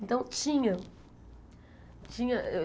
Então, tinha. Tinha